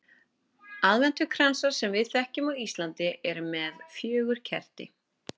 Aðventukransar sem við þekkjum á Íslandi eru með fjögur kerti.